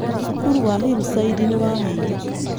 Cukuru wa Hillside nĩ wahĩire.